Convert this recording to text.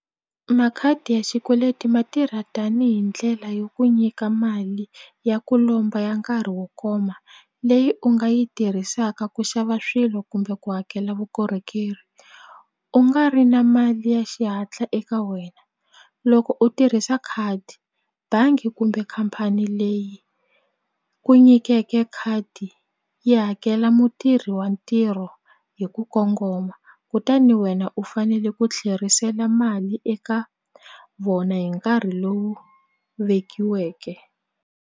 Makhadi ya xikweleti ma tirha tanihi ndlela yo ku nyika mali ya ku lomba ya nkarhi wo koma leyi u nga yi tirhisaka ku xava swilo kumbe ku hakela vukorhokeri u nga ri na mali ya xihatla eka wena loko u tirhisa khadi bangi kumbe khampani leyi ku nyikeke khadi yi hakela mutirhi wa ntirho hi ku kongoma kutani wena u fanele ku tlherisela mali eka vona hi nkarhi lowu vekiweke.